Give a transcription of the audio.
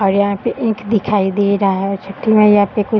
और यहाँ पे ईख दिखाई दे रहा है छठी मईया पे कुछ --